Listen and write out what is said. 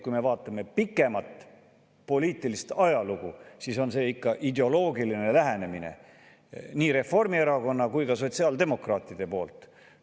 Kui me vaatame pikemat poliitilist ajalugu, siis on see ikka Reformierakonna ja sotsiaaldemokraatide ideoloogiline lähenemine.